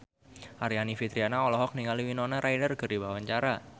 Aryani Fitriana olohok ningali Winona Ryder keur diwawancara